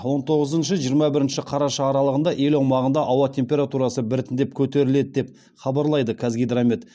он тоғызыншы жиырма бірінші қараша аралығында ел аумағында ауа температурасы біртіндеп көтеріледі деп хабарлайды қазгидромет